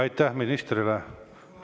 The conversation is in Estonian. Aitäh ministrile!